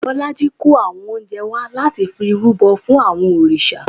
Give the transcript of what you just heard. Bọlájí kó àwọn oúnjẹ wá láti fi rúbọ sí àwọn òrìṣà